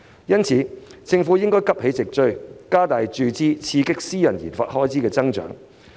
因此，政府應急起直追，加大注資，以刺激私人研發開支的增長。